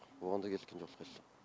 оған да келіскен жоқ ешқайсы